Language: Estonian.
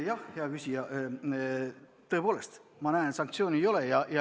Jah, hea küsija, tõepoolest, sanktsioone ei ole.